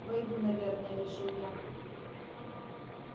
войду наверное решил я